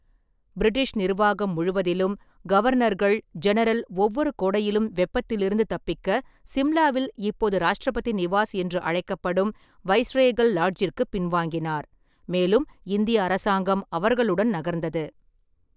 British நிர்வாகம் முழுவதிலும், கவர்னர்கள்-ஜெனரல் ஒவ்வொரு கோடையிலும் வெப்பத்திலிருந்து தப்பிக்க சிம்லாவில் இப்போது ராஷ்டிரபதி நிவாஸ் என்று அழைக்கப்படும் வைஸ்ரேகல் லாட்ஜிற்கு பின்வாங்கினார், மேலும் இந்திய அரசாங்கம் அவர்களுடன் நகர்ந்தது.